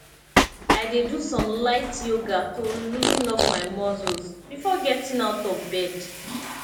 i dey do some light yoga to loosen up my muscles before getting out of bed